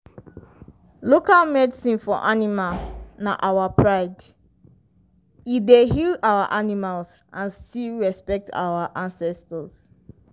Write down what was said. local medicine for animal na our pride—e dey heal our animals and still respect our ancestors.